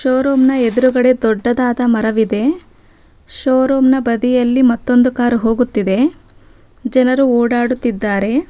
Show room ನ ಎದುರಗಡೆ ದೊಡ್ಡದಾದ ಮರವಿದೆ ಶೋರೂಮ್ ನ ಬದಿಯಲ್ಲಿ ಮತ್ತೊಂದು ಕಾರ್ ಹೋಗುತ್ತಿದೆ ಜನರು ಓಡಾಡುತ್ತಿದ್ದಾರೆ.